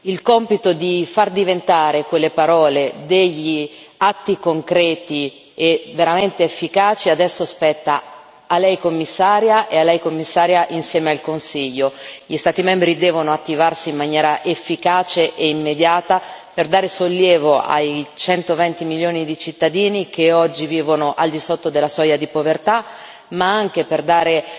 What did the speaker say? Il compito di far diventare quelle parole degli atti concreti e veramente efficaci adesso spetta a lei, Commissaria, e a lei Commissaria insieme al Consiglio. Gli Stati membri devono attivarsi in maniera efficace e immediata per dare sollievo ai 120 milioni di cittadini che oggi vivono al di sotto della soglia di povertà, ma anche per dare